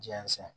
Jɛnsɛn